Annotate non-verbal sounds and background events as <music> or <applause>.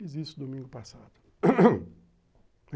Fiz isso domingo passado. <coughs>